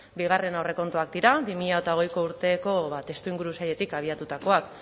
bigarren aurrekontuak dira bi mila hogeiko urteko testuinguru zailetik abiatutakoak